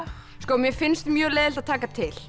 mér finnst mjög leiðinlegt að taka til